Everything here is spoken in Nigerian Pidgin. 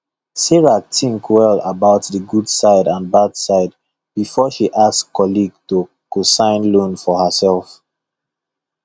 sarah think well about the good side and bad side before she ask colleague to cosign loan for herself